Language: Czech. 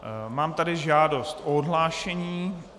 Mám tady žádost o odhlášení.